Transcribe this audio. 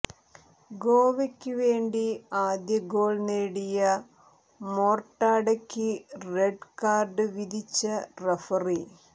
ഗോവയ്ക്ക് വേണ്ടി ആദ്യ ഗോൾ നേടിയ മോർട്ടാഡയ്ക്ക് റെഡ് കാർഡ് വിധിച്ച റഫറി